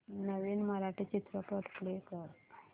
नवीन मराठी चित्रपट प्ले कर